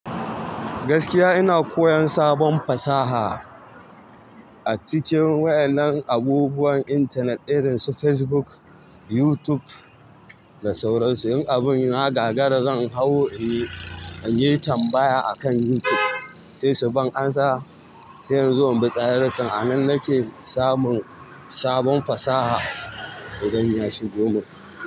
Gaskiya ina koyon sabon fasaha a cikin waƴannan abubuwan intanet irin su Facebook, YouTube da sauransu. In abun ya gagara zan hau, eh, in yi tambaya akan YouTube sai su bani amsa. Sai in zo in bi tsarurrukan, a nan nake samun sabon fasaha idan na shigo nan.